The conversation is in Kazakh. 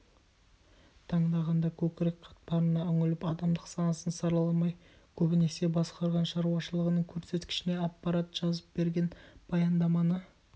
таңдағанда көкірек қатпарына үңіліп адамдық сапасын сараламай көбінесе басқарған шаруашылығының көрсеткішіне аппарат жазып берген баяндаманы